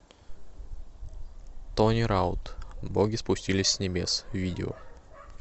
тони раут боги спустились с небес видео